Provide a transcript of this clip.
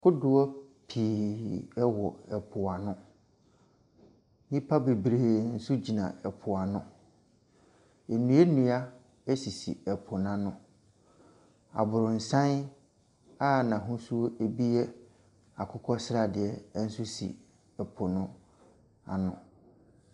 Kodoɔ pii wɔ po ano. Nnipa bebree nso gyina po ano. Nnuannua sisi po no ano. Aborosan a n'ahosuo bi yɛ akokɔ sradeɛ nso si po no ano.